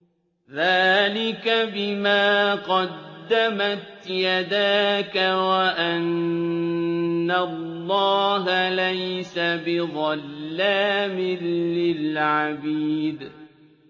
ذَٰلِكَ بِمَا قَدَّمَتْ يَدَاكَ وَأَنَّ اللَّهَ لَيْسَ بِظَلَّامٍ لِّلْعَبِيدِ